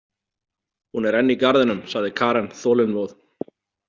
Hún er enn í garðinum, sagði Karen þolinmóð.